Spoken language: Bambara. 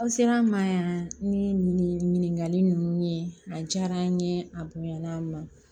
Aw sera an ma yan ni ɲininkali nunnu ye a diyara an ye a bonyana an ma